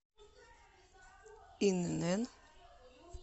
инн